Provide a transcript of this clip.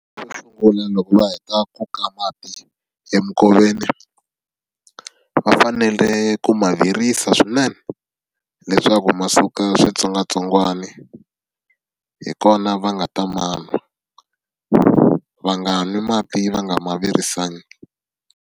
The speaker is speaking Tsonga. Xo sungula loko va heta ku ka mati eminkoveni, va fanele ku ma virisa swinene leswaku ma suka switsongwatsongwani hi kona va nga ta ma nwa. Va nga nwi mati va nga ma virisangi.